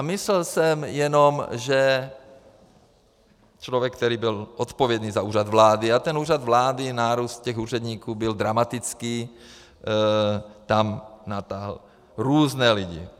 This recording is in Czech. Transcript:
A myslel jsem jenom, že člověk, který byl odpovědný za Úřad vlády, a ten Úřad vlády, nárůst těch úředníků byl dramatický, tam natáhl různé lidi.